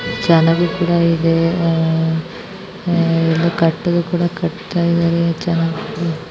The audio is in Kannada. ಚೆನ್ನಾಗಿ ಕೂಡ ಇದೆ ಕಟ್ಟಿಗೆ ಕೂಡ ಕಟ್ಟುತ್ತಿದ್ದಾರೆ.